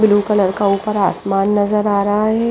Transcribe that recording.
Blue colour का उपर आसमान नज़र आ रहा है।